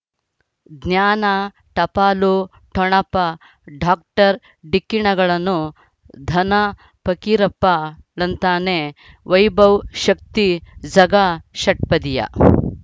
ಜ್ಞಾನ ಟಪಾಲು ಠೊಣಪ ಡಾಕ್ಟರ್ ಢಿಕ್ಕಿ ಣಗಳನು ಧನ ಫಕೀರಪ್ಪ ಳಂತಾನೆ ವೈಭವ್ ಶಕ್ತಿ ಝಗಾ ಷಟ್ಪದಿಯ